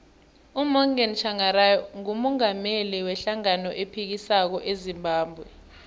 umorgan tshangari ngumungameli we hlangano ephikisako ezimbabwe